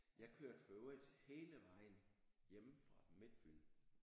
Jeg kørte i øvrigt hele vejen hjemme fra Midtfyn